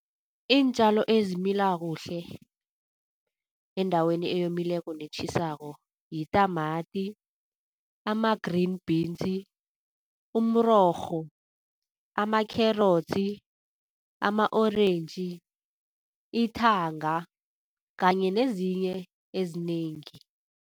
Iintjalo ezimila kuhle, endaweni eyomileko netjhisako yitamati, ama-green beans, umrorho, ama-kherotsi, ama-orentji, ithanga kanye nezinye ezinengi.